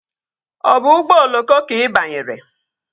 Ọ bụ ụgbọ oloko ka ị banyere?